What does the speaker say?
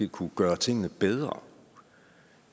kunne gøre tingene bedre